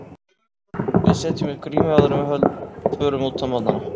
Við setjum upp grímu áður en við förum út á morgnana.